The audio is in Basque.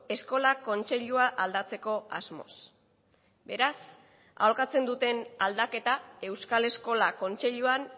eskola kontseilua aldatzeko asmoz beraz aholkatzen duten aldaketa euskal eskola kontseiluan